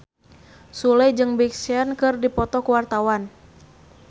Sule jeung Big Sean keur dipoto ku wartawan